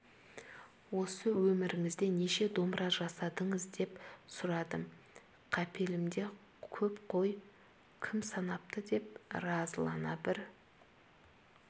осы өміріңізде неше домбыра жасадыңыз деп сұрадым қапелімде көп қой кім санапты деп разылана бір